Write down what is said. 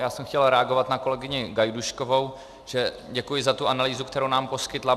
Já jsem chtěl reagovat na kolegyni Gajdůškovou, že děkuji za tu analýzu, kterou nám poskytla.